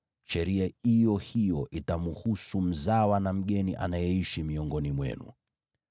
Sheria iyo hiyo itamuhusu mzawa na mgeni anayeishi miongoni mwenu.”